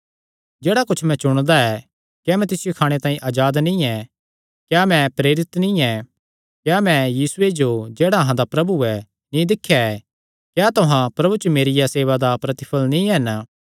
जेह्ड़ा कुच्छ मैं चुणदा ऐ क्या मैं तिसियो खाणे तांई अजाद नीं ऐ क्या मैं प्रेरित नीं ऐ क्या मैं यीशुये जो जेह्ड़ा अहां दा प्रभु ऐ नीं दिख्या ऐ क्या तुहां प्रभु च मेरिया सेवा दा प्रतिफल़ नीं हन